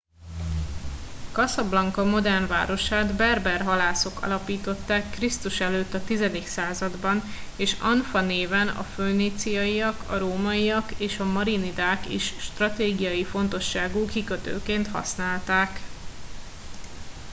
casablanca modern városát berber halászok alapították kr.e. a x. században és anfa néven a föníciaiak a rómaiak és a marinidák is stratégiai fontosságú kikötőként használták